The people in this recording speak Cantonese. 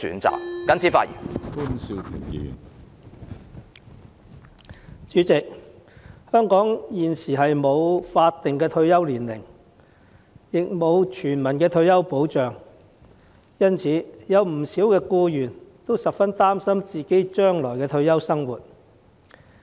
主席，香港現時不設法定退休年齡，亦沒有全民退休保障，因此，不少僱員也十分擔心將來的退休生活。